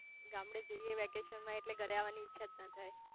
ગામડે જઇયે વેકેશન માં એટલે ઘરે આવાની ઈચ્છા જ ના થાય